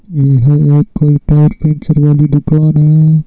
यह एक कोई टायर पंचर वाली दुकान है।